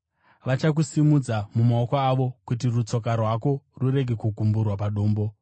vachakusimudza mumaoko avo, kuti rutsoka rwako rurege kugumburwa padombo.’ ”